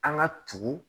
An ka tugu